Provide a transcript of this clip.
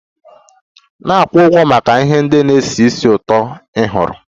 Na-akwụ ụgwọ maka ihe ndị na-esi ísì ụtọ ị họọrọ!